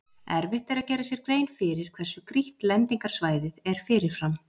Erfitt er að gera sér grein fyrir hversu grýtt lendingarsvæðið er fyrirfram.